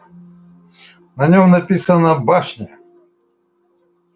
на нём написано башня